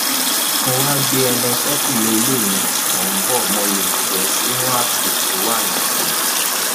mo wáá gbé e lọ ṣèkúlẹ ilé mi mo bò ó mọlẹ bẹẹ nínú àpò tó wà ni